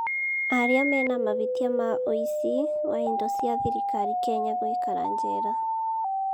Arĩa mena mahĩtia ma ũici wa indo cia thirikari Kenya gũikara njera